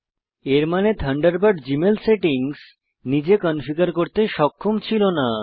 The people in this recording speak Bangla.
এর মানে থান্ডারবার্ড জীমেল সেটিংস নিজে কনফিগার করতে সক্ষম ছিল না